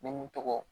Ne mun tɔgɔ